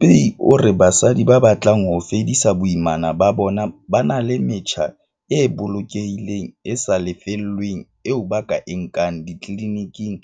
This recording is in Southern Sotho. Muthupei o re basadi ba batlang ho fedisa boimana ba bona ba na le metjha e bolokehileng le e sa lefellweng eo ba ka e nkang ditliliniking